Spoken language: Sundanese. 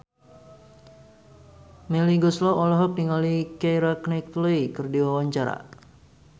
Melly Goeslaw olohok ningali Keira Knightley keur diwawancara